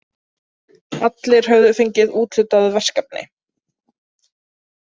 Allir höfðu fengið úthlutað verkefni.